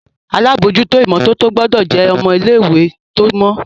àlabòjuto imototo gbódò jé ọmọ ilé ìwé tó mọ